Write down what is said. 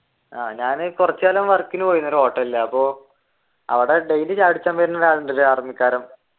ഞാൻ കുറച്ചു കാലം work നു പോയി ഒരു ഹോട്ടലിൽ അപ്പൊ അവിടെ daily ചായ കുടിക്കാൻ വരുന്ന ഒരുയാളുണ്ട് ഒരു ആർമിക്കാരൻ